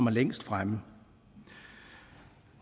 er længst fremme